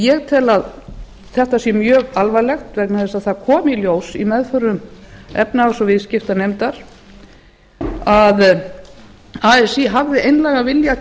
ég tel að þetta sé mjög alvarlegt vegna þess að þetta kom í ljós í meðförum efnahags og viðskiptanefndar að así hafði einlægan vilja